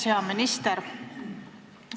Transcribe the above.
Hea minister!